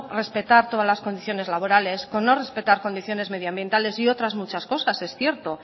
respetar todas las condiciones laborales con no respetar condiciones medioambientales y muchas otras cosas es cierto